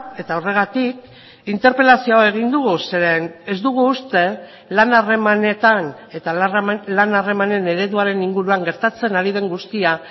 eta horregatik interpelazio hau egin dugu zeren ez dugu uste lan harremanetan eta lan harremanen ereduaren inguruan gertatzen ari den guztia